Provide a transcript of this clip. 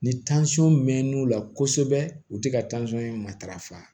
Ni mɛnn'u la kosɛbɛ u tɛ ka matarafa